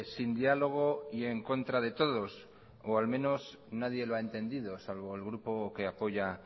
sin diálogo y en contra de todos o al menos nadie lo ha entendido salvo el grupo que apoya